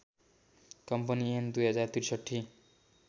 company ऐन २०६३